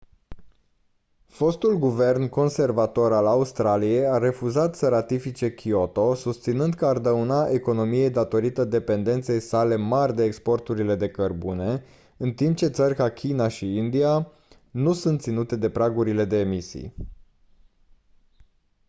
fostul guvern conservator al australiei a refuzat să ratifice kyoto susținând că ar dauna economiei datorită dependenței sale mari de exporturile de cărbune în timp ce țări ca china și india nu sunt ținute de pragurile de emisii